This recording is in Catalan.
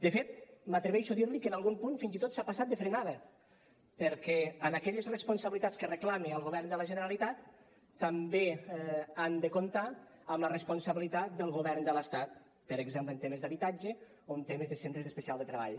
de fet m’atreveixo a dir li que en algun punt fins i tot s’ha passat de frenada perquè en aquelles responsabilitats que reclama al govern de la generalitat també han de comptar amb la responsabilitat del govern de l’estat per exemple en temes d’habitatge o en temes de centres especials de treball